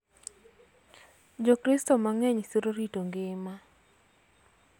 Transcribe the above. Jokristo mang�eny siro rito ngima .